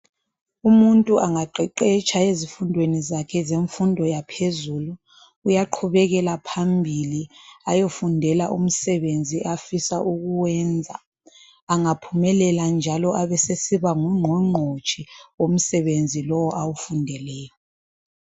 Umuntu angaqeqetsha ezifundweni zakhe zemfundo yaphezulu uyaqhubekela phambili ayefundela umsebenzi afisa ukuwenza angaphumelela njalo abesesiba ngungqongqotshe womsebenzi lowu awufundeleyo.